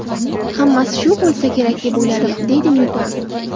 Hammasi shu bo‘lsa kerak deb o‘yladim”, deydi Nyuton.